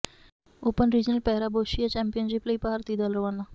open regional para boccia championship ਲਈ ਭਾਰਤੀ ਦਲ ਰਵਾਨਾ